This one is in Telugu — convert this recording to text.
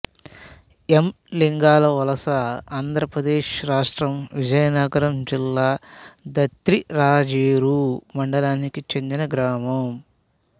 ఎమ్ లింగాల వలసఆంధ్ర ప్రదేశ్ రాష్ట్రం విజయనగరం జిల్లా దత్తిరాజేరు మండలానికి చెందిన గ్రామం